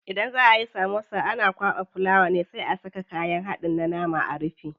Idan za ayi samosa ana kwaɓa fulawa ne sai a saka kayan haɗin na nama a rufe.